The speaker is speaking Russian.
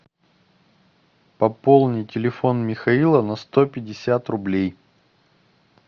пополни телефон михаила на сто пятьдесят рублей